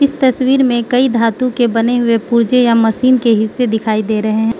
इस तस्वीर मे कई धातु के बने हुए पुर्जे या मशीन के हिस्से दिखाई दे रहे हैं।